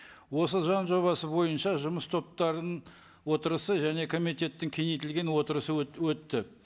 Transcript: осы заң жобасы бойынша жұмыс топтарының отырысы және комитеттің кеңейтілген отырысы өтті